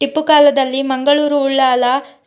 ಟಿಪ್ಪುಕಾಲದಲ್ಲಿ Mangaluru Ullal